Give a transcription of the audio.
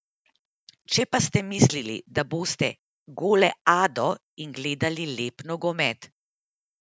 Če ste pa mislili, da boste goleado in gledali lep nogomet ...